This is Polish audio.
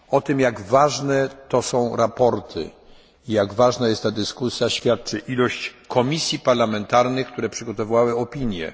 O tym, jak ważne to są sprawozdania i jak ważna jest ta dyskusja świadczy ilość komisji parlamentarnych, które przygotowały opinie.